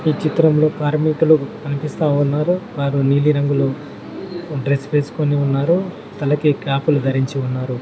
ఈ చిత్రంలో కార్మికులు కనిపిస్తా ఉన్నారు వారు నీలిరంగులో డ్రెస్ వేసుకొని ఉన్నారు తలకి క్యాప్ లు ధరించి ఉన్నారు.